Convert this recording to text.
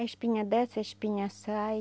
A espinha desce, a espinha sai.